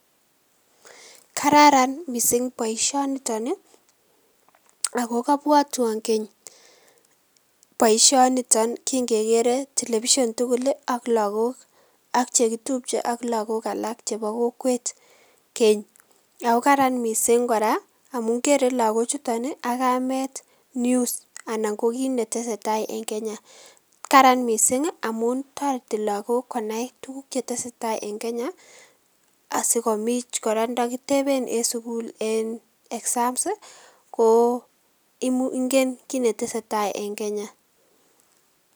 Kararan mising boisionito nii ako kabwatwon keny boisionito kingekere television tugul ak lakok, ak chekitupche, ak lakok alak chepo kokwet keny ako karan mising kora amun kere lakochuto akamet news anan kokit neteseitai en Kenya karan mising amun toreti lakok konai tuguk cheteseitai en kenya asikomuch kora ndokitepen en sigul en exams koo ingen kit neteseitai en Kenya.